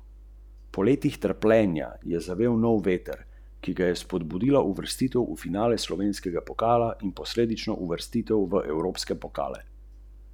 Vseeno se potrudite, saj boste imeli nekaj lepih priložnosti, teh pa se nikoli ne branite!